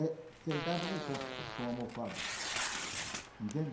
É sentado no chão com almofada, entende?